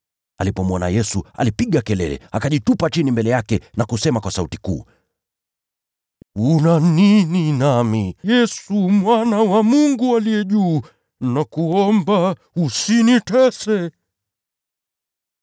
Alipomwona Yesu, alipiga kelele, akajitupa chini mbele yake na kusema kwa sauti kuu, “Una nini nami, Yesu, Mwana wa Mungu Aliye Juu Sana? Nakuomba, usinitese!”